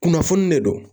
Kunnafoni de don